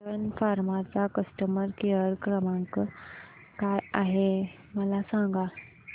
सन फार्मा चा customer care क्रमांक काय आहे मला सांगा